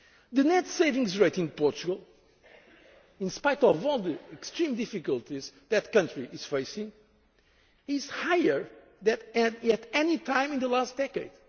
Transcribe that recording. examples. The net savings rate in Portugal, in spite of all the extreme difficulties that country is facing, is higher than at any time in the